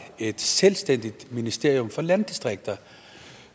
et selvstændigt ministerium for landdistrikter